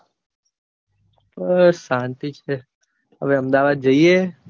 બસ શાંતિ છે હવે અમદાવાદ જઇયે.